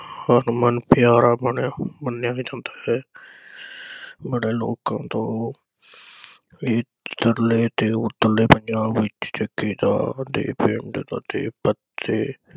ਹਰਮਨ ਪਿਆਰਾ ਬਣਿਆ ਮੰਨਿਆ ਵੀ ਹੁੰਦਾ ਹੈ। ਬੜੇ ਲੋਕਾਂ ਤੋਂ ਇਧਰਲੇ ਤੇ ਉਧਰਲੇ ਪੰਜਾਬ ਵਿਚ ਜੱਗੇ ਦਾ ਦੇ ਪਿੰਡ ਅਤੇ ਪਤੇ